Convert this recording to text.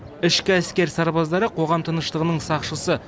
ішкі әскер сарбаздары қоғам тыныштығының сақшысы